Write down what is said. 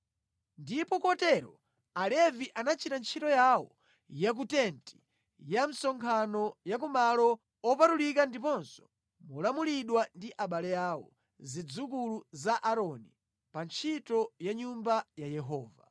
Ndipo kotero Alevi anachita ntchito yawo ya ku tenti ya msonkhano ya ku Malo Opatulika ndiponso molamulidwa ndi abale awo, zidzukulu za Aaroni, pa ntchito ya mʼNyumba ya Yehova.